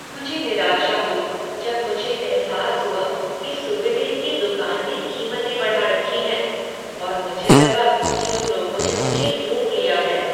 मुझे निराशा हुई जब मुझे एहसास हुआ कि सूवनेर की दुकान ने कीमतें बढ़ा रखी हैं, और मुझे लगा कि उन लोगों ने मुझे लूट लिया है।